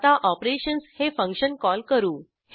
आता ऑपरेशन्स हे function call करू